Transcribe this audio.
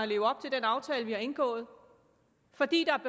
leve op til den aftale vi har indgået fordi der